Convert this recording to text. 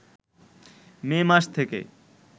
মে মাস থেকে